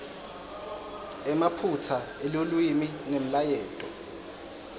emaphutsa elulwimi nemlayeto